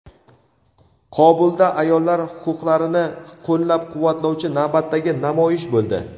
Qobulda ayollar huquqlarini qo‘llab-quvvatlovchi navbatdagi namoyish bo‘ldi.